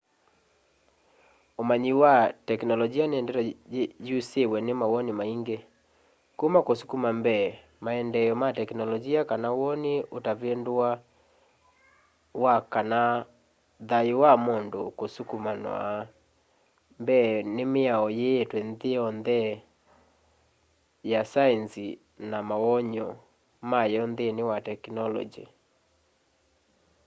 umanyi wa tekinolonji ni ndeto yusiwe ni mawoni maingi kuma kusukuma mbee maendeeo ma teknolonji kana woni utavinduwa wa kana thayu wa mundu usukumawa mbee ni miao yiitwe nthi ya saenzi na mawonany'o mayo nthini wa tekinolonji